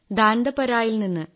ദാൻദപരായിൽ നിന്ന്